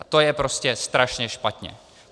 A to je prostě strašně špatně.